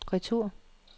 retur